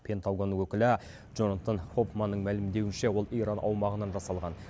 пентагон өкілі джонатан хоффманның мәлімдеуінше ол иран аумағынан жасалған